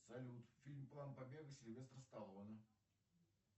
салют фильм план побега сильвестр сталлоне